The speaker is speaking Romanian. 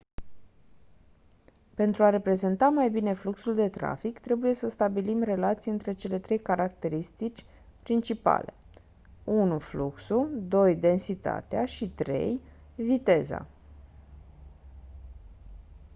pentru a reprezenta mai bine fluxul de trafic trebuie să stabilim relații între cele trei caracterisitici principale: 1 fluxul 2 densitatea și 3 viteza